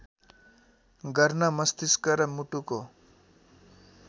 गर्न मस्तिष्क र मुटुको